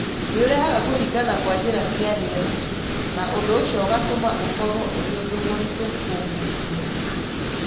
Nĩ ũrehaga kũhingana kwa njĩra cia rĩera, na ũndũ ũcio ũgatũma ũkorũo ũrĩ ũndũ mũritũ kũhuhia.